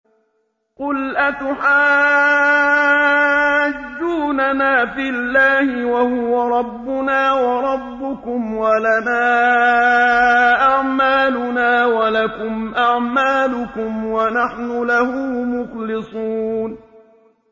قُلْ أَتُحَاجُّونَنَا فِي اللَّهِ وَهُوَ رَبُّنَا وَرَبُّكُمْ وَلَنَا أَعْمَالُنَا وَلَكُمْ أَعْمَالُكُمْ وَنَحْنُ لَهُ مُخْلِصُونَ